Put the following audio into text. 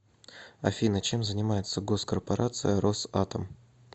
афина чем занимается госкорпорация росатом